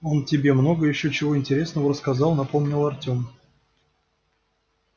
он тебе много ещё чего интересного рассказал напомнил артем